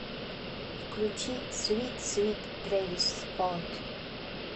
включи свит свит трэвис скот